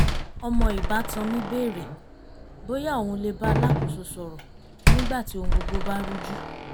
ọmọ ìbátan mi bèrè bóyá òun lè bá alákòóso sọ̀rọ̀ nígbà tí ohun gbogbo bá rújú